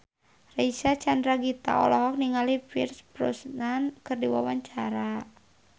Reysa Chandragitta olohok ningali Pierce Brosnan keur diwawancara